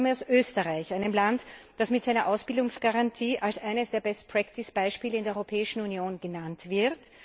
Ich komme aus Österreich, einem Land, das mit seiner Ausbildungsgarantie als eines der best practice Beispiele in der Europäischen Union genannt wird.